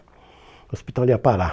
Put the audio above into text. O hospital ia parar.